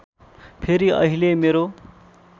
फेरि अहिले मेरो